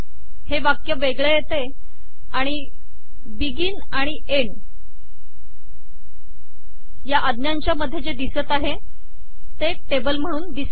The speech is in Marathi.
हे वाक्य वेगळे येते आणि बिगिन सुरु आणि एन्ड शेवट टेबल या आज्ञांच्या मध्ये जे दिसत आहे ते एक टेबल म्हणून दिसते आहे